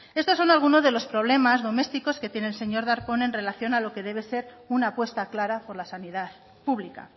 estos son algunos de los problemas domésticos que tiene el señor darpón en relación a lo que debe de ser una apuesta clara por la sanidad pública